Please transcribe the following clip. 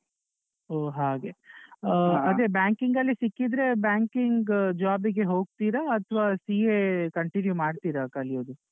ಹೊ ಹಾಗೆ, ಆಹ್ ಅದೆ banking ಅಲ್ಲೆ ಸಿಕ್ಕಿದ್ರೆ banking job ಗೆ ಹೊಗ್ತೀರಾ ಅಥವಾ CA continue ಮಾಡ್ತೀರಾ ಕಲಿಯೋದು?